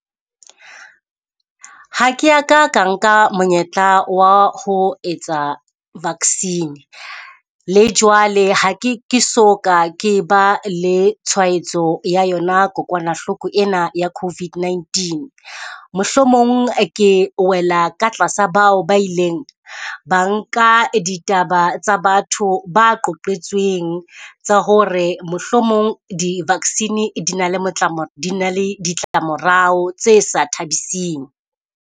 Ha ke ya ka ka nka monyetla wa ho etsa vaccine, le jwale ha ke ke so ka ke ba le tshwaetso ya yona kokwanahloko ena ya CoVID-19. Mohlomong ke wela ka tlasa bao ba ileng ba nka ditaba tsa batho ba qoqetsweng tsa hore mohlomong di vaccine di na le di na le ditlamorao tse sa thabising.